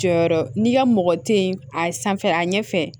Jɔyɔrɔ n'i ka mɔgɔ te ye a sanfɛ a ɲɛ fɛ